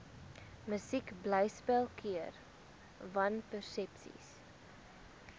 musiekblyspel keer wanpersepsies